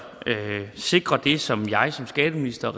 sikre det som regeringen og jeg som skatteminister